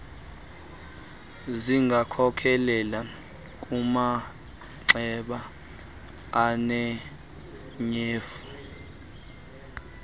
zingakhokelela kumanxeba anetyhefu